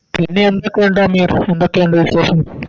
പിന്നെ എന്തൊക്കെ ഉണ്ട് അമീർ എന്തൊക്കെ ഉണ്ട് വിശേഷം